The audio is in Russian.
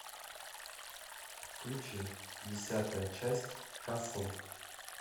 включи десятая часть касл